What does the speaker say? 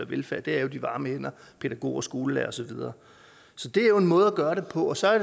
velfærd er jo de varme hænder pædagoger skolelærere og så videre så det er en måde at gøre det på så er